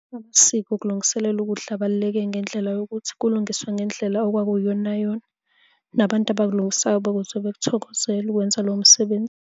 Amasiko okulungiselela ukudla abaluleke ngendlela yokuthi kulungiswe ngendlela okwakuyiyona yona. Nabantu abakulungisayo bakuzwe, bakuthokozele ukwenza lowo msebenzi.